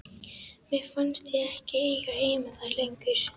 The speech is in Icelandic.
Mér fannst ég ekki eiga heima þar lengur.